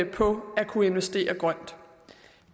på at kunne investere grønt